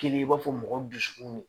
Kelen i b'a fɔ mɔgɔw dusukun m